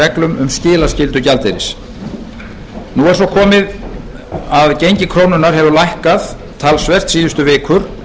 reglum um skilaskyldu gjaldeyris nú er svo komið að gengi krónunnar hefur lækkað talsvert síðustu vikur